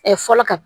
fɔlɔ ka